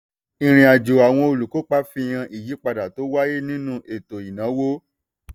ìrìnàjò àwọn olùkópa fihan ìyípadà tó wáyé nínú ètò ìnáwó.